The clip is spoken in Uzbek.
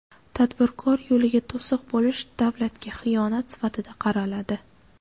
Tadbirkor yo‘liga to‘siq bo‘lish davlatga xiyonat sifatida qaraladi.